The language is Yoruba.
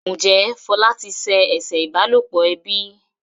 Njé Fola tí se eṣe ìbálòpọ̀ ẹbí?